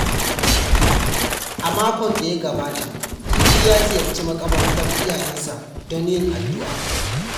A makon da ya gabata, Idi ya ziyarci makabartar iyayensa don yin addu’a.